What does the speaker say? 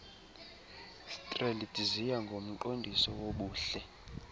strelitzia ngumqondiso wobuhle